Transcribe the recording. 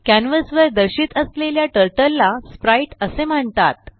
canvas वर दर्शित असलेल्या टर्टल ला स्प्राइट असे म्हणतात